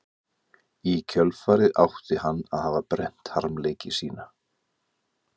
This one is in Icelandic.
Í kjölfarið átti hann að hafa brennt harmleiki sína.